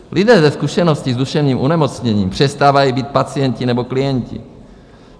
Lidé se zkušenostmi s duševním onemocněním přestávají být pacienti nebo klienti.